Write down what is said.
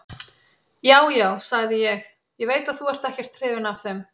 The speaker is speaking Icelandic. Já, já, sagði ég, ég veit að þú ert ekkert hrifinn af þeim.